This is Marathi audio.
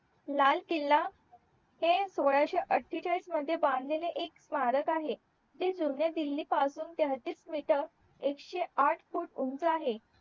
लाल किला ते सोळाशे आठेचलीस मध्ये बांधलेले एक स्मारक आहे ते जुन्या दिल्ली पासून तेहतीस मीटर एकशेआठ फूट उंच आहे